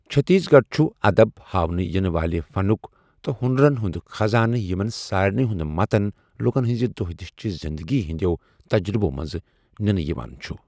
چھتیس گڈھ چھٗ ادب ، حاونہٕ یِنہٕ والہِ فنٗك تہٕ ہونرن ہٗند خزانہٕ یمن سارِنٕیہ ہٗند متن لٗكن ہنزِ دوہ دِشہِ چہِ زِندگی ہندِیو تجرٗبو منز نِنہٕ یوان چھٗ